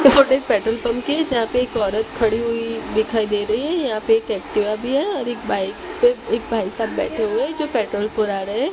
Petrol pump के जहां पे एक औरत खड़ी हुई दिखाई दे रही है यहां पे एक एक्टिवा भी है और एक बाइक पे एक भाई साहब बैठे हुए जो पेट्रोल पुरा रहे।